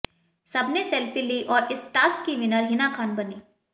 सबने सेल्फी लीं और इस टास्क की विनर हिना खान बनीं